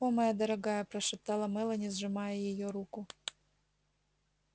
о моя дорогая прошептала мелани сжимая её руку